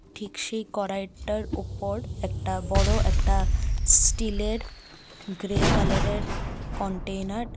ঠিক সেই কড়াইটার উপর একটা বড় একটা স্টিলের গ্রে কালারের কন্টেইনার ।